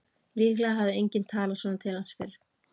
Líklega hafði enginn talað svona til hans fyrr.